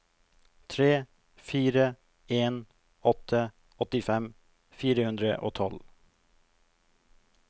tre fire en åtte åttifem fire hundre og tolv